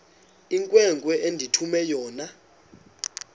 inkwenkwe endithume yona